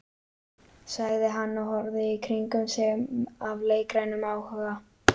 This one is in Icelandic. sagði hann og horfði í kringum sig af leikrænum áhuga.